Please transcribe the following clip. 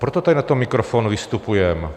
Proto tady na ten mikrofon vystupujeme.